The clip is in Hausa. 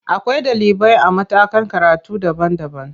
Akwai ɗalibai a matakan karatu daban-daban.